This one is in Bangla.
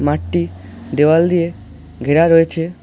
মাঠটি দেওয়াল দিয়ে ঘেরা রয়েছে।